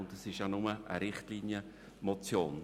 Zudem handelt es sich nur um eine Richtlinienmotion.